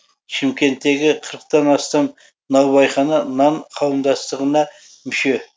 шымкенттегі қырықтан астам наубайхана нан қауымдастығына мүше